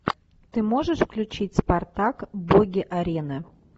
ты можешь включить спартак боги арены